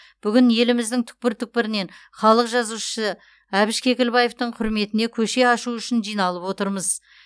бүгін еліміздің түкпір түкпірінен халық жазушысы әбіш кекілбаевтың құрметіне көше ашу үшін жиналып отырмыз